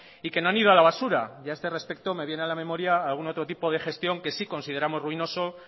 y que no han ido a la basura y a este respecto me viene a la memoria algún otro tipo de gestión que sí consideramos ruinoso